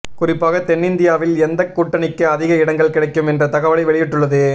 குறிப்பாக தென்னிந்தியாவில் எந்தக் கூட்டணிக்கு அதிக இடங்கள் கிடைக்கும் என்ற தகவலை வெளியிட்டுள்ளது